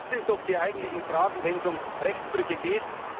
Das sind doch die eigentlichen Fragen, wenn es um Rechtsbrüche geht.